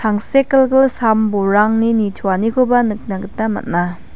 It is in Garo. tangsekgilgil sam-bolrangni nitoanikoba nikna gita man·a.